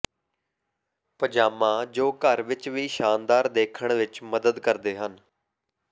ਪਜਾਮਾ ਜੋ ਘਰ ਵਿਚ ਵੀ ਸ਼ਾਨਦਾਰ ਦੇਖਣ ਵਿਚ ਮਦਦ ਕਰਦੇ ਹਨ